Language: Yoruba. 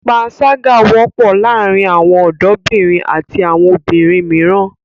Pańṣágà wọ́pọ̀ láàárin àwọn ọ̀dọ́bìnrin àti àwọn obìnrin mìíràn.